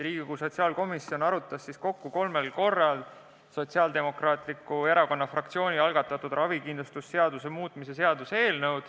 Riigikogu sotsiaalkomisjon arutas kokku kolmel korral Sotsiaaldemokraatliku Erakonna fraktsiooni algatatud ravikindlustuse seaduse muutmise seaduse eelnõu.